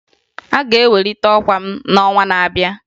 Aga ewelite ọkwa m n'ọnwa na-abịa